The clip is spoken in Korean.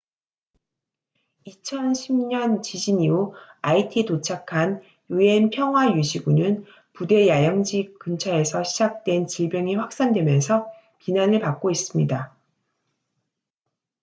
2010년 지진 이후 아이티에 도착한 un 평화 유지군은 부대 야영지 근처에서 시작된 질병이 확산되면서 비난을 받고 있습니다